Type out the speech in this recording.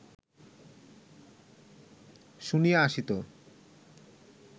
শুনিয়া আসিত